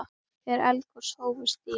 Þegar eldgos hófust í